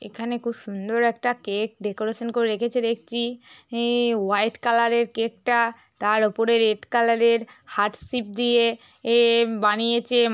এখানে খুব সুন্দর একটা কেক ডেকোরেশন করে রেখেছে দেখছি। ই হোয়াইট কালারের কেকটা । তার উপরে রেড কালারের হার্ট সিপ দিয়ে এ বানিয়েছে।